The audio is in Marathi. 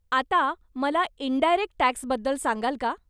आता मला इंडायरेक्ट टॅक्सबद्दल सांगाल का?